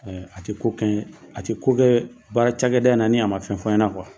Ɛɛ a ti ko kɛ baara cakɛda in na ni a ma fɛn fɔ n ɲɛna